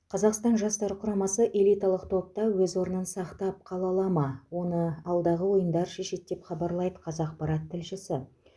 қазақстан жастар құрамасы элиталық топта өз орнын сақтап қала ала ма оны алдағы ойындар шешеді деп хабарлайды қазақпарат тілшісі